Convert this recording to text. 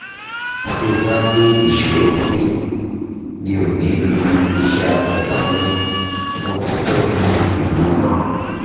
ti o ba ni isoro mimio ni lo ise abe fun fun titoju iwo naa